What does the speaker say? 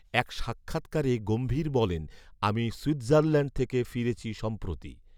এক সাক্ষাৎকারে গম্ভীর বলেন, ''আমি সুইৎজারল্যান্ড থেকে ফিরেছি সম্প্রতি